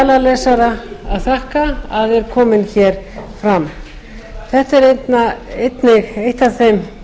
skjalalesara að þakka að er komin fram þetta er eitt af þeim